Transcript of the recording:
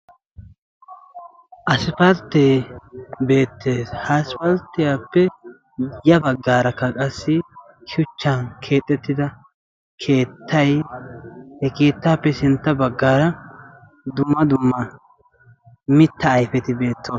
Aspalttee beettees. Ha asipalttiyappe ya baggaarakka qassi shuchchan keexettida keettay, he keettaappe sintta baggaara dumma dumma mitta ayifeti beettoosona.